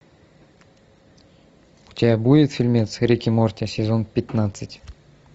у тебя будет фильмец рик и морти сезон пятнадцать